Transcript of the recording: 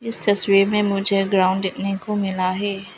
इस तस्वीर में मुझे ग्राउंड देखने को मिला है।